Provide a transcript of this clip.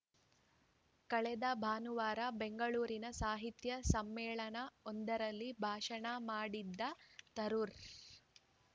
ಕಳೆದ ಭಾನುವಾರ ಬೆಂಗಳೂರಿನ ಸಾಹಿತ್ಯ ಸಮ್ಮೇಳನವೊಂದರಲ್ಲಿ ಭಾಷಣ ಮಾಡಿದ್ದ ತರೂರ್